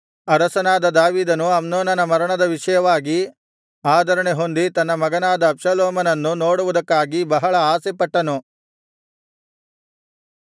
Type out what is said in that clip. ಅರಸನಾದ ದಾವೀದನು ಅಮ್ನೋನನ ಮರಣದ ವಿಷಯವಾಗಿ ಆದರಣೆಹೊಂದಿ ತನ್ನ ಮಗನಾದ ಅಬ್ಷಾಲೋಮನನ್ನು ನೋಡುವುದಕ್ಕಾಗಿ ಬಹಳ ಆಸೆಪಟ್ಟನು